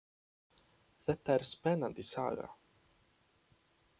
Þetta er spennandi saga.